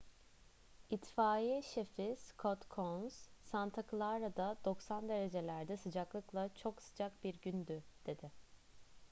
i̇tfaiye şefi scott kouns santa clara'da 90 derecelerde sıcaklıkla çok sıcak bir gündü dedi